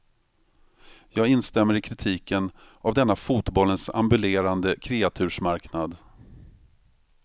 Jag instämmer i kritiken av denna fotbollens ambulerande kreatursmarknad.